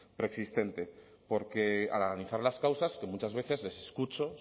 preexistente porque al analizar las causas que muchas veces les escucho